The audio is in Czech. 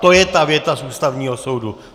To je ta věta z Ústavního soudu.